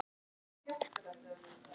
Hvernig kanntu við Ísland?